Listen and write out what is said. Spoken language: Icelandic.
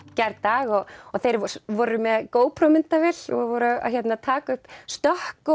gærdag og þeir voru með gopro myndavél og voru að taka upp stökk